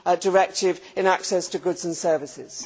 directive on access to goods and services